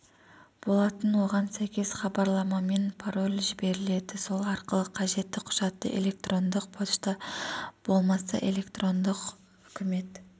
болатын оған сәйкес іабарламамен пароль жіберіледі сол арқылы қажетті құжатты электрондық пошта болмаса электрондық үкімет